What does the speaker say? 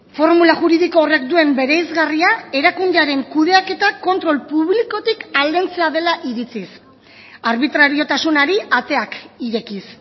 formula juridiko horrek duen bereizgarria erakundearen kudeaketa kontrol publikotik aldentzea dela iritziz arbitrariotasunari ateak irekiz